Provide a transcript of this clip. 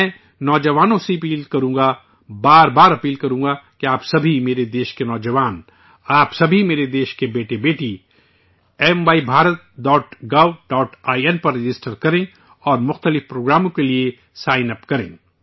میں نوجوانوں سے اپیل کروں گا، بار بار اپیل کروں گا کہ آپ سبھی میرے ملک کے نوجوان، آپ سبھی میرے ملک کے بیٹے بیٹی MYBharat.Gov.in پر رجسٹر کریں اور مختلف پروگراموں کے لیے سائن اپ کریں